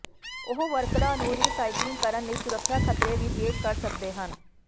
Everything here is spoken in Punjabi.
ਉਹ ਵਰਕਰਾਂ ਨੂੰ ਰੀਸਾਇਕਲਿੰਗ ਕਰਨ ਲਈ ਸੁਰੱਖਿਆ ਖਤਰੇ ਵੀ ਪੇਸ਼ ਕਰ ਸਕਦੇ ਹਨ